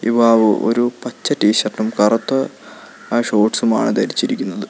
യുവാവ് ഒരു പച്ച ടീ ഷർട്ടും കറുത്ത ഷോർട്സുമാണ് ധരിച്ചിരിക്കുന്നത്.